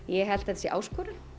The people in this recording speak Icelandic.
ég held að þetta sé áskorun